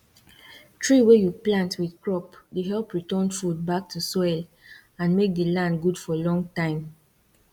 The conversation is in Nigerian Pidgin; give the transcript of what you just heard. tree wey you plant with crop dey help return food back to soil and make the land good for long time